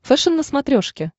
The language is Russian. фэшен на смотрешке